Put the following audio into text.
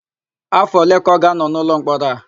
Áfọ̀ ole ka ọ ga-ánọ̀ n'ụlọmkpọrọ a?